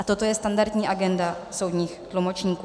A toto je standardní agenda soudních tlumočníků.